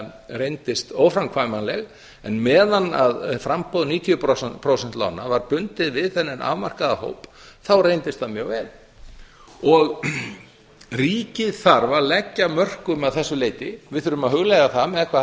reyndist óframkvæmanleg en meðan framboð níutíu prósenta lána var bundið við þennan afmarkaða hóp þá reyndist það mjög vel ríkið þarf að leggja af mörkum að þessu leyti við þurfum að hugleiða það með hvaða